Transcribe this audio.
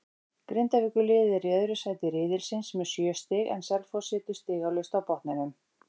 Grindavíkurliðið er í öðru sæti riðilsins með sjö stig en Selfoss situr stigalaust á botninum.